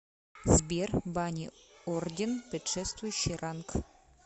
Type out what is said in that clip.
сбер бани орден предшествующий ранг